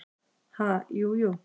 """Ha, jú, jú"""